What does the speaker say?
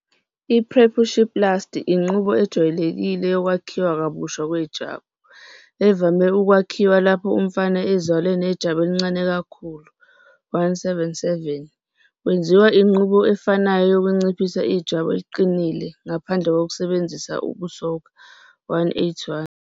I-Preputioplasty inqubo ejwayelekile yokwakhiwa kabusha kwejwabu, evame ukwenziwa lapho umfana ezalwa nejwabu elincane kakhulu- 177 kwenziwa inqubo efanayo yokunciphisa ijwabu eliqinile ngaphandle kokusebenzisa ukusoka. - 181